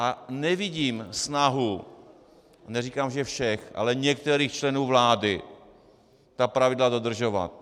A nevidím snahu, neříkám, že všech, ale některých členů vlády ta pravidla dodržovat.